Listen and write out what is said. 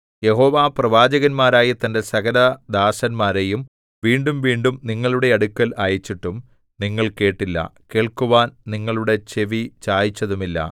യഹോവ പ്രവാചകന്മാരായ തന്റെ സകലദാസന്മാരെയും വീണ്ടുംവീണ്ടും നിങ്ങളുടെ അടുക്കൽ അയച്ചിട്ടും നിങ്ങൾ കേട്ടില്ല കേൾക്കുവാൻ നിങ്ങളുടെ ചെവി ചായിച്ചതുമില്ല